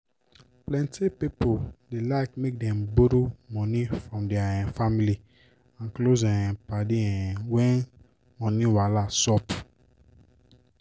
plenty pipo dey like make dem borrow moni from der um family and close um padi um when money wahala sup.